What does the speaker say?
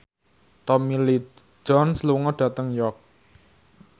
Tommy Lee Jones lunga dhateng York